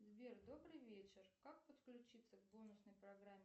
сбер добрый вечер как подключиться к бонусной программе